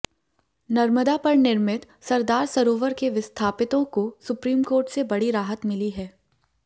नर्मदा पर निर्मित सरदार सरोवर के विस्थापितों को सुप्रीम कोर्ट से बड़ी राहत मिली है